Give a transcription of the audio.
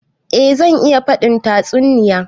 Eh zan iya faɗin tatsuniya.